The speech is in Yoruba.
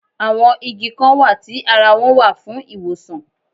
Àwọn Igi Kan wà tí ara wọn wà fún ìwòsàn